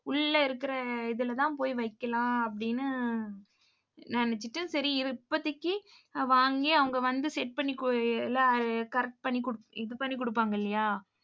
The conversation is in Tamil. உள்ள இருக்கிற இதுல தான் போய் வைக்கலாம் அப்படீன்னு நினைச்சிட்டு சரி இப்போதைக்கு வாங்கி அவங்க வந்து set பண்ணி கொ~ எல்லாம் correct பண்ணி குடுப்~ இது பண்ணி குடுப்பாங்க இல்லையா?